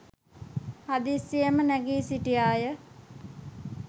හදිස්සියේම නැගී සිටියාය.